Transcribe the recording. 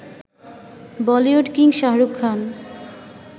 Bollywood king Shahrukh Khan